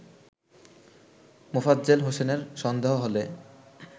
মোফাজ্জেল হোসেনের সন্দেহ হলে